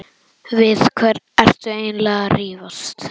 Við hvern ertu eiginlega að rífast?